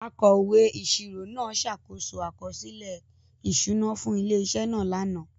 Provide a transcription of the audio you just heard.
Akọ̀wé ìṣirò náà ṣàkóso àkọsílẹ̀ ìṣúná fún ilé-iṣẹ́ náà lánàá.